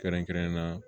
Kɛrɛnkɛrɛnnenya la